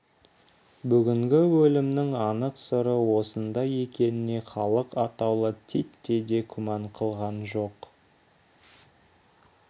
бүгінгі өлімнің анық сыры осында екеніне халық атаулы титтей де күмән қылған жоқ